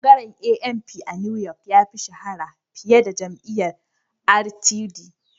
Bangaren ANP a New York ya fi shahara fiye da jam'iyyar RTD